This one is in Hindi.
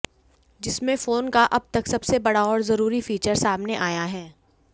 जिसमें फोन का अब तक सबसे बड़ा और जरुरी फीचर सामने आया है